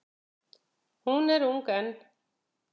Hún er ung enn.